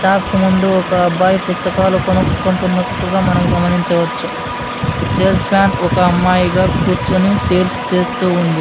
Shop కు ముందు ఒక అబ్బాయి పుస్తకాలు కొనుక్కున్నట్టుగా మనం గమనించవచ్చు సేల్స్ మాన్ ఒక అమ్మాయిగా కూర్చొని సేల్స్ చేస్తుంది.